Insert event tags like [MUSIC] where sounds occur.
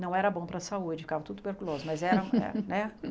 Não era bom para a saúde, ficava tudo tuberculoso, mas era era, né? [LAUGHS]